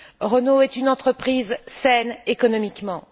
Renault est une entreprise saine économiquement.